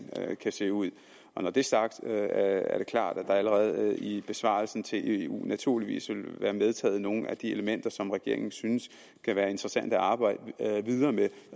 kan se ud når det er sagt er det klart at der allerede i besvarelsen til eu naturligvis vil være medtaget nogle af de elementer som regeringen synes kan være interessante at arbejde videre med